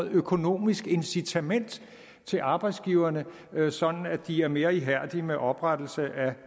økonomisk incitament til arbejdsgiverne sådan at de er mere ihærdige med oprettelse af